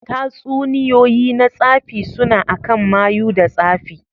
Tatsuniyoyi na tsafi suna akan mayu da tsafi.